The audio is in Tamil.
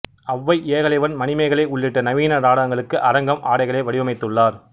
அவ்வை ஏகலைவன் மணிமேகலை உள்ளிட்ட நவீன நாடகங்களுக்கு அரங்கம் ஆடைகளை வடிவமைத்துள்ளார்